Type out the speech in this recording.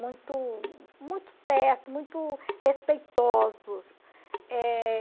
Muito muito certo, muito respeitosos.